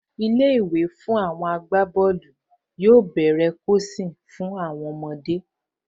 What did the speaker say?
Ilé-ìwé fún àwọn agbábọ́ọ̀lù yóò tó bẹ̀rẹ̀ kọ́ àwọn ọmọ